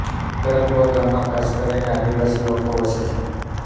કાંકરાકુવા ગામમાં ખાસ કરીને આદિવાસી લોકો વસે છે